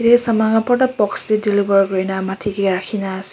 ye saman bhorta box teh deliver kori na matti ke rakhi na ase.